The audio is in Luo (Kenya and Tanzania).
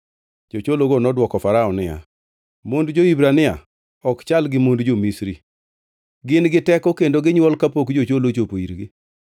Jochologo nodwoko Farao niya, “Mond jo-Hibrania ok chal gi mond jo-Misri, gin giteko kendo ginywol kapok jocholo ochopo irgi.”